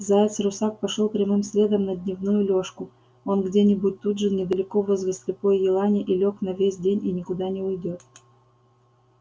заяц-русак пошёл прямым следом на дневную лёжку он где-нибудь тут же недалеко возле слепой елани и лёг на весь день и никуда не уйдёт